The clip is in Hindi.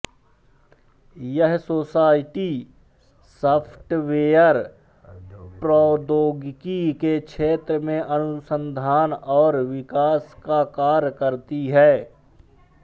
यह सोसाइटी सॉफ्टवेयर प्रौद्योगिकी के क्षेत्र में अनुसंधान और विकास का कार्य करती है